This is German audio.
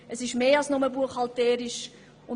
Es geht um mehr als nur eine buchhalterische Frage.